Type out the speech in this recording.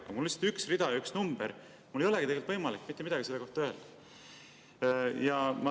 Aga mul on lihtsalt üks rida ja üks number, mul ei olegi tegelikult võimalik mitte midagi selle kohta öelda.